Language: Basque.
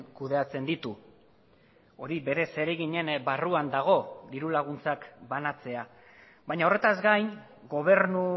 kudeatzen ditu hori bere zereginen barruan dago diru laguntzak banatzea baina horretaz gain gobernu